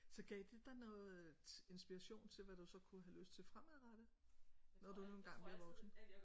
Så gav det dig noget inspiration til hvad du så kunne have lyst til fremadrettet? Når du nu engang bliver voksen